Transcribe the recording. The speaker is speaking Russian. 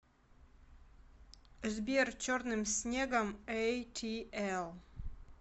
сбер черным снегом эйтиэл